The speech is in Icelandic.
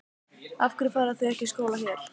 Af hverju fara þau þá ekki í skóla hér?